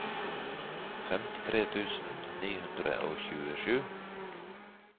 femtitre tusen ni hundre og tjuesju